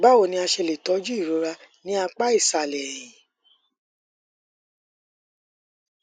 bawo ni a ṣe le tọju irora ni apa isalẹ ẹhin